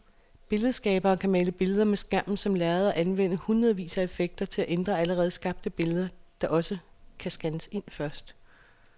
Billedskabere kan male billeder med skærmen som lærred og anvende hundredvis af effekter til at ændre allerede skabte billeder, der også kan scannes ind først.